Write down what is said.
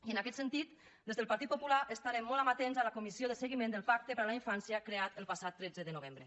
i en aquest sentit des del partit popular estarem molt amatents a la comissió de seguiment del pacte per a la infància creada el passat tretze de novembre